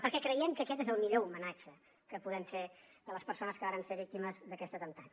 perquè creiem que aquest és el millor homenatge que podem fer a les persones que varen ser víctimes d’aquest atemptat